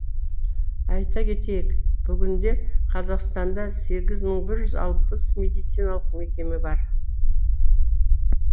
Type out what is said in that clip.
айта кетейік бүгінде қазақстанда сегіз мың бір жүз алпыс медициналық мекеме бар